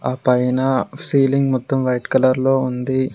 ఆ పైన సీలింగ్ మొత్తం వైట్ కలర్ లో ఉంది.